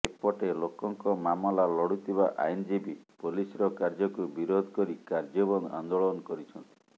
ଏପଟେ ଲୋକଙ୍କ ମାମଲା ଲଢୁଥିବା ଆଇନଜୀବୀ ପୋଲିସର କାର୍ଯ୍ୟକୁ ବିରୋଧ କରି କାର୍ଯ୍ୟବନ୍ଦ ଆନ୍ଦୋଳନ କରିଛନ୍ତି